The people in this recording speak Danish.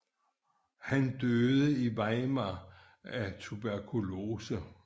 Han døde i Weimar af tuberkulose